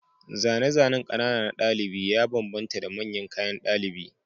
Zane-zanen ƙanana na ɗalibi ya bambanta da manyan kayan ɗalibi